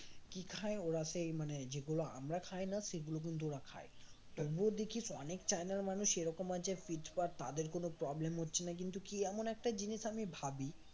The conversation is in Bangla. কি খায় ওরা সেই মানে যেগুলো আমরা খাই না সেগুলো কিন্তু ওরা খায় তবুও দেখিস অনেক চায়নার মানুষ এরকম আছে fit ফাট তাদের কোন problem হচ্ছে না কিন্তু কি এমন একটা জিনিস আমি ভাবি